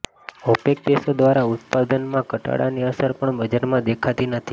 opaque દેશો દ્વારા ઉત્પાદનમાં ઘટાડાની અસર પણ બજારમાં દેખાતી નથી